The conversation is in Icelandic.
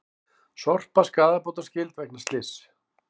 Sorpa skaðabótaskyld vegna slyss